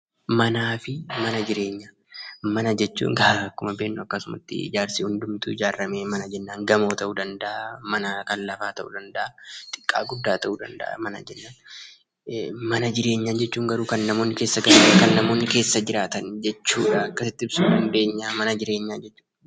Mana fi mana jireenyaa Mana jechuun akkuma beeknu guutuu ijaarame mana jennaan gamoo ta'uu danda'a, mana kan lafaa ta'uu danda'a, xiqqaa guddaa ta'uu danda'a mana jennaan. Mana jireenyaa jechuun garuu kan namoonni keessa jiraatan jechuudha. Akkasitti ibsuu dandeenya jechuudha.